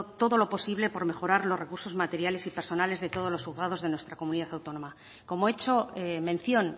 todo lo posible por mejorar los recursos materiales y personales de todos los juzgados de nuestra comunidad autónoma como he hecho mención